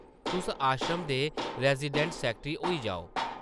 तुस आश्रम दे रैज़िडैंट सैकटरी होई जाओ ।